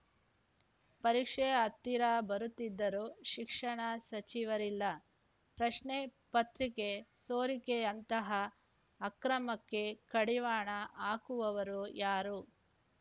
ಪರೀಕ್ಷೆ ಹತ್ತಿರ ಬರುತ್ತಿದ್ದರೂ ಶಿಕ್ಷಣ ಸಚಿವರಿಲ್ಲ ಪ್ರಶ್ನೆ ಪತ್ರಿಕೆ ಸೋರಿಕೆಯಂತಹ ಅಕ್ರಮಕ್ಕೆ ಕಡಿವಾಣ ಹಾಕುವವರು ಯಾರು